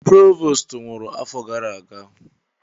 Provost nwụrụ afọ gara aga.